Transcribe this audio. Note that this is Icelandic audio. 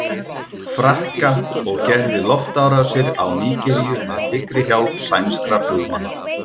Frakka og gerði loftárásir á Nígeríu með dyggri hjálp sænskra flugmanna.